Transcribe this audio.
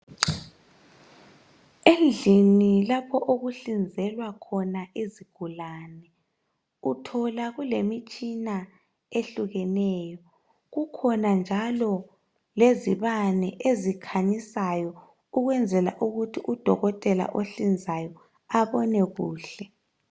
Endlini lapho okuhlinzelwa khona izigulane, uthola kulemitshina ehlukeneyo, kukhona njalo lezibane eziiķhanyisayo ukwenzela ukuthi udokotela ohlinzayo abone kuhle.